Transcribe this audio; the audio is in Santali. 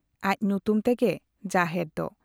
ᱟᱡ ᱧᱩᱛᱩᱢ ᱛᱮᱜᱮ ᱡᱟᱦᱮᱨ ᱫᱚ ᱾